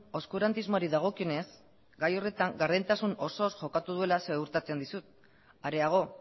oskurantismoari dagokionez gai horretan gardentasun osoz jokatu duela ziurtatzen dizut areago